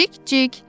Cik-cik!